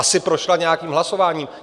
Asi prošla nějakým hlasováním.